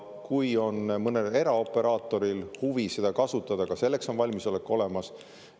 Kui mõnel eraoperaatoril on huvi seda kasutada, siis ka selleks on valmisolek olemas.